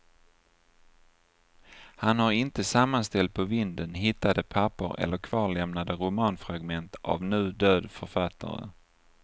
Han har inte sammanställt på vinden hittade papper eller kvarlämnade romanfragment av nu död författare.